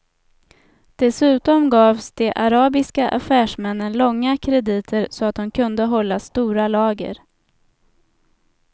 Dessutom gavs de arabiska affärsmännen långa krediter så att de kunde hålla stora lager.